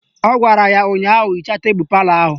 Ọ gwara ya ụnyaahụ " Hichaa tebelu palọ ahụ"!